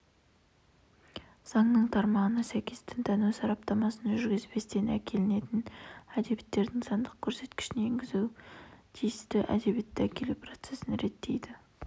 заңның тармағына сәйкес дінтану сараптамасын жүргізбестен әкелінетін әдебиеттердің сандық көрсеткішін енгізу тиісті әдебиетті әкелу процесін реттейді